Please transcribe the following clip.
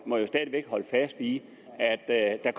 må stadig væk holde fast i at jeg